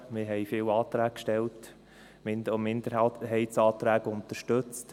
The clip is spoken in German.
Wir haben viele Anträge gestellt und auch Minderheitsanträge unterstützt.